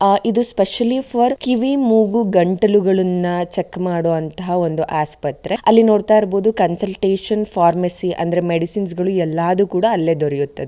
ಆ ಇದು specially for ಕಿವಿ ಮೂಗು ಗಂಟಲುಗಳನ್ನ ಚೆಕ್ ಮಾಡುವಂತಹ ಒಂದು ಆಸ್ಪತ್ರೆ ಅಲ್ಲಿ ನೋಡ್ತ ಇರಬಹುದು ಕನ್ಸಲ್ಟೇಶನ್ ಫಾರ್ಮಸಿ ಅಂದ್ರೆ ಮೆಡಿಸಿನ್ಸ್ ಗಳು ಎಲ್ಲಾದು ಕೂಡ ಅಲ್ಲೇ ದೊರೆಯುತ್ತದೆ --